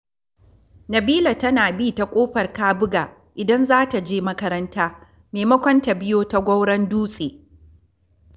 Nabila tana bi ta Ƙofar Kabuga idan za ta je makaranta, maimakon ta biyo ta Goron Dutse